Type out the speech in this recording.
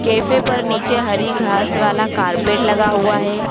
Cafe पर नीचे हरी घास वाला कार्पेट लगा हुआ है।